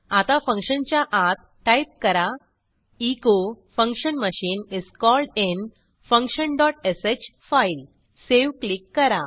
आता फंक्शनच्या आत टाईप करा echo function machine is called in function dot sh file save click करा